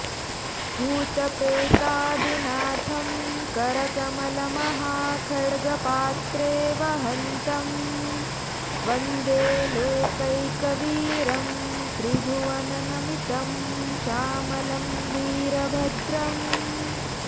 भूतप्रेतादिनाथं करकमलमहाखड्गपात्रे वहन्तं वन्दे लोकैकवीरं त्रिभुवननमितं श्यामलं वीरभद्रम्